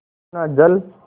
इतना जल